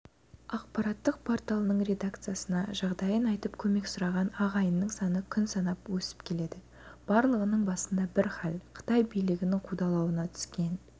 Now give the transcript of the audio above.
ақпараттық порталының редакциясына жағдайын айтып көмек сұраған ағайынның саны күн санап өсіп келеді барлығының басында бір хәл қытай билігінің қудалауына түскен